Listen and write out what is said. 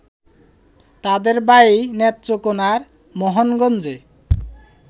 তাদের বাড়ি নেত্রকোণার মোহনগঞ্জে